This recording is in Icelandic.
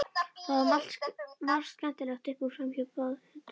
Það valt margt skemmtilegt upp úr frambjóðendum.